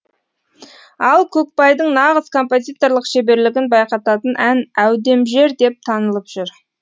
ал көкбайдың нағыз композиторлық шеберлігін байқататын ән әудемжер деп танылып жүр